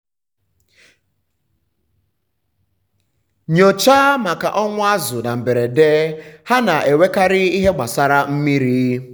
nyochaa maka ọnwụ azụ̀ na mberede—ha na-enwekarị ihe gbasara mmiri.